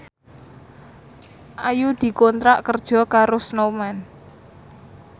Ayu dikontrak kerja karo Snowman